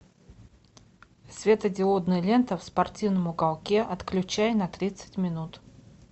светодиодная лента в спортивном уголке отключай на тридцать минут